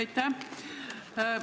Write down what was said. Aitäh!